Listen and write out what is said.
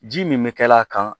Ji min bɛ kɛ a kan